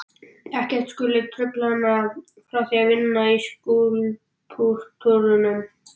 Ekkert skuli trufla hana frá því að vinna að skúlptúrnum.